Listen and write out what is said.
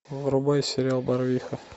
врубай сериал барвиха